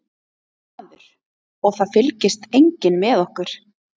Maður: Og það fylgist enginn með okkur?